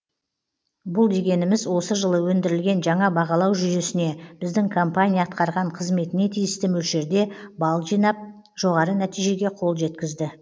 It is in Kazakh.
бұл дегеніміз осы жылы ендірілген жаңа бағалау жүйесіне біздің компания атқарған қызметіне тиісті мөлшерде бал жинап жоғары нәтижеге қол жеткізді